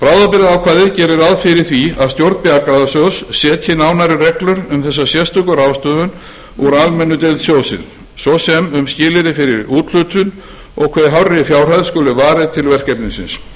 ráð fyrir því að stjórn bjargráðasjóðs setji nánari reglur um þessa sérstöku ráðstöfun úr almennri deild sjóðsins svo sem sem skilyrði fyrir úthlutun og hve hárri fjárhæð skuli varið til verkefnisins